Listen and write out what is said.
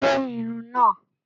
Gé Irun náà!